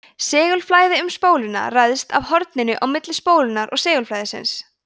segulflæði um spóluna ræðst af horninu á milli spólunnar og segulflæðisins